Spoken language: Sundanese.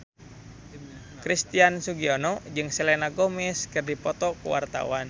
Christian Sugiono jeung Selena Gomez keur dipoto ku wartawan